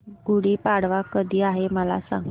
गुढी पाडवा कधी आहे मला सांग